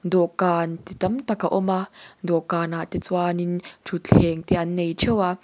dawhkan chi tamtak a awm a dawhkan ah te chuan in thutthleng te an neih theuh a--